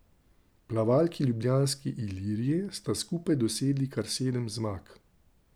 Plavalki ljubljanske Ilirije sta skupaj dosegli kar sedem zmag.